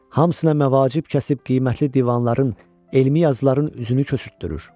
Hamısına məvacib kəsib qiymətli divanların, elmi yazıların üzünü köçürtdürür.